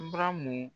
Bara mun